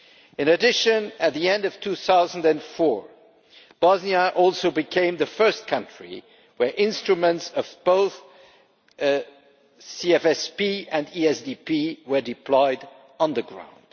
In addition, at the end of 2004, Bosnia also became the first country where instruments of both the CFSP and the ESDP were deployed on the ground.